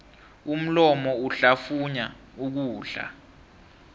umlomo uhlafunya ukudla